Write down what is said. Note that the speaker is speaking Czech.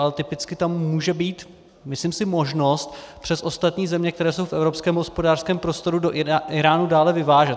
Ale typicky tam může být, myslím si, možnost přes ostatní země, které jsou v evropském hospodářském prostoru, do Íránu dále vyvážet.